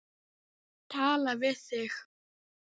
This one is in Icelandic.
Tala við þig.